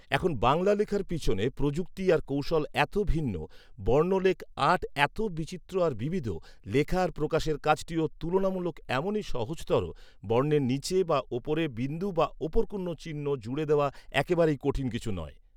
এখন বাংলা লেখার পেছনে প্রযুক্তি আর কৌশল এত ভিন্ন, বর্ণলেখ আট এত বিচিত্র আর বিবিধ, লেখা আর প্রকাশের কাজটিও তুলনামূলকভাবে এমনই সহজতর, বর্ণের নিচে বা ওপরে বিন্দু বা ওপর কোনো চিহ্ন জুড়ে দেওয়া একেবারেই কঠিন কিছু নয়